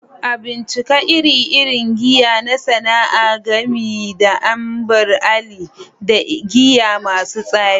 A bincika ire-iren giya na sana'a, gami da Ambar Alli da giya masu tsami